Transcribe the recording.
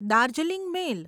Darjeeling મેલ